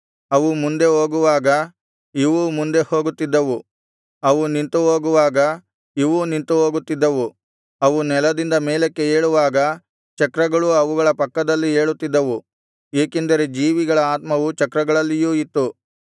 ಅವು ಮುಂದೆ ಹೋಗುವಾಗ ಇವೂ ಮುಂದೆ ಹೋಗುತ್ತಿದ್ದವು ಅವು ನಿಂತು ಹೋಗುವಾಗ ಇವೂ ನಿಂತುಹೋಗುತ್ತಿದ್ದವು ಅವು ನೆಲದಿಂದ ಮೇಲಕ್ಕೆ ಏಳುವಾಗ ಚಕ್ರಗಳೂ ಅವುಗಳ ಪಕ್ಕದಲ್ಲಿ ಏಳುತ್ತಿದ್ದವು ಏಕೆಂದರೆ ಜೀವಿಗಳ ಆತ್ಮವು ಚಕ್ರಗಳಲ್ಲಿಯೂ ಇತ್ತು